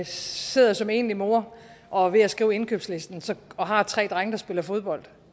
sidder som enlig mor og er ved at skrive indkøbslisten og har tre drenge der spiller fodbold